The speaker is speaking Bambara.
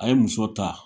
A ye muso ta